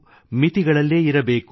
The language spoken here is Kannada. ಮಿತಿಗಳಲ್ಲೇ ಇರಬೇಕು